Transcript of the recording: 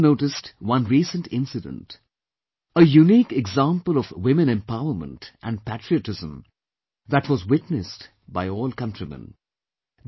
You might have noticed one recent incident, a unique example of grit, determination and patriotism that was witnessed by all countrymen